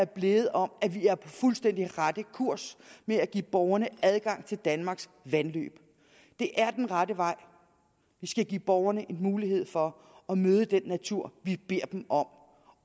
blevet om at vi er på fuldstændig rette kurs ved at give borgerne adgang til danmarks vandløb det er den rette vej vi skal give borgerne en mulighed for at møde den natur vi beder dem om